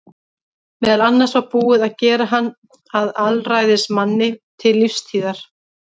Meðal annars var búið að gera hann að alræðismanni til lífstíðar.